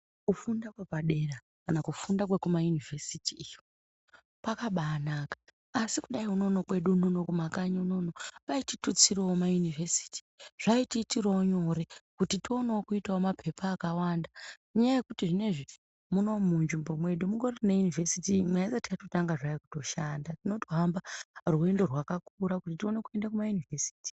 Kufunda kwepadera kana kufunda kwekumayunivhesiti yo kufunda kwakabaanaka. Asi kudai unono kwedu unono kumakanyi kwedu unono vaititutsirawo mayunivhesiti. Zvaitiitirawo nyore kuti tionewo kuita mapepa akawanda. Ngenyaya yekuti zvinezvi munzvimbo yedu mungori neyunivhesiti imwe. Ayisati yatotanga zvayo kushanda. Tinotamba rwendo rwakakura kuti tione kuenda kumayunivhesiti.